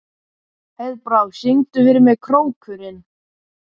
Heiðbrá, syngdu fyrir mig „Krókurinn“.